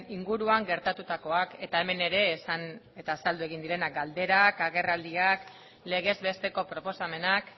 inguruan gertatutakoak eta hemen ere azaldu egin direnak galderak agerraldiak legez besteko proposamenak